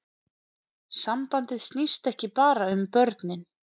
Sambandið snýst ekki bara um börnin